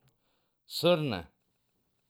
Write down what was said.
Srne?